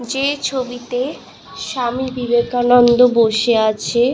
যে ছবিতে স্বামী বিবেকানন্দ বসে আছে ।